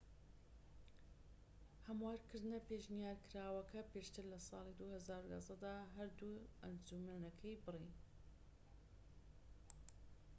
هەموارکردنە پێشنیارکراوەکە پێشتر لە ساڵی 2011 دا هەردوو ئەنجومەنەکەی بڕی